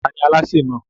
Ta ni alásè náà?